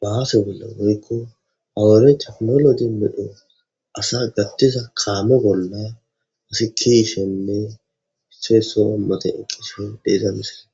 baaase bolla goykko hawure taknoloi medho asa gattiza kaamo bolla asi kiishenne hissey so a mate eqqishe deiza misele.